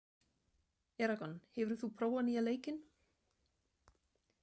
Eragon, hefur þú prófað nýja leikinn?